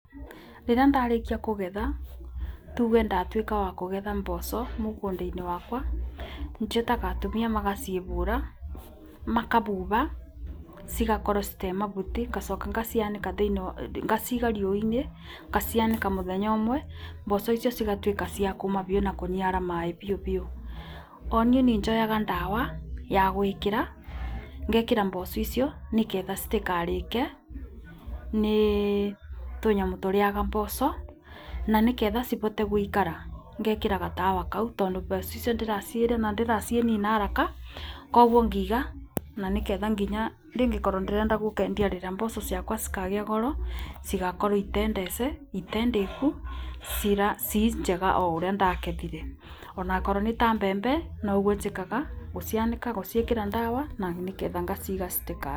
Rĩrĩa ndarĩkia kũgetha tuge ndatuĩka wa kũgetha mboco mũgũnda-inĩ wakwa, njĩtaga atumia magacibũra, makabuba cigakorwo citarĩ mabuti ngacoka ngacianĩka, ngaciga riũa-inĩ ngacianĩka mũthenya ũmwe mboco icio cia cigatuĩka cia kũũma biũ na kũniara maĩ biũ biũ. Oniĩ nĩnjoyaga ndawa ya gũĩkira, ngekĩra mboco icio nĩgetha citikarĩke nĩ tũnyamu tũrĩaga mboco na nĩketha cibote gũikara, ngekĩra gatawa kau tondũ mboco icio ndĩracirĩma ndiracinina haraka kwoguo ngĩiga na nĩketha nginya ndingĩkorwo rĩrĩa ngenda gũkendia rĩrĩa mboco ciakwa cikagia goro cigagĩkorwo itendĩku ciĩ njega taũrĩa ndacigethire ona akorwo nĩta mbembe noguo njĩkaga, gũcianĩka, guciĩkĩra ndawa na nĩgetha ngaciiga.